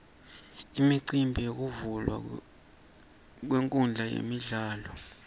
imicimbi yekuvulwa kwenkhundla yemidlalo